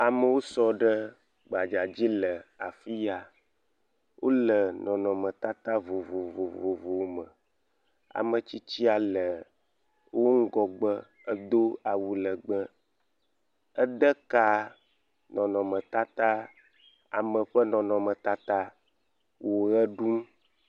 Amewo sɔ ɖe gbadza dzi le afia. Wole nɔnɔmetata vovovovovo me. Ame tsitsia le wo ŋgɔgbe edo awu legbẽ. Ede ka nɔnɔmetata ame ƒe nɔnɔmetata wo ʋe ɖum.